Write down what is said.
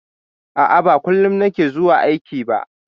A'a, ba kullum na ke zuwa aiki ba.